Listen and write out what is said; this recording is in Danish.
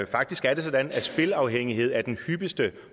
faktisk er det sådan at spilafhængighed er den hyppigste